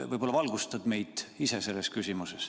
Võib-olla valgustad meid ise selles küsimuses.